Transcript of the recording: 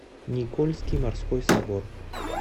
никольский морской собор